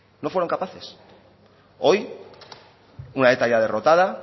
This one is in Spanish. no fueron capaces hoy una eta ya derrotada